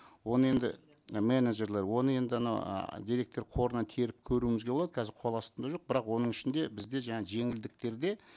оны енді менеджерлер оны енді анау ааа деректер қорынан теріп көруімізге болады қазір қол астында жоқ бірақ оның ішінде бізде жаңа жеңілдіктерде